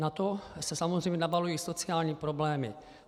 Na to se samozřejmě nabalují sociální problémy.